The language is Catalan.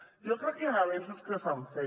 jo crec que hi han avenços que s’han fet